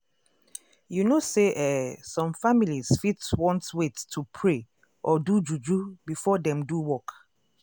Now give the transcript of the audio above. to know wetin patient belief true true fit make una trust easy plus how una go take talk